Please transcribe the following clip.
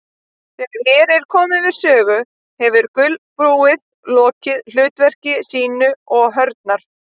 Þegar hér er komið sögu hefur gulbúið lokið hlutverki sínu og hrörnar.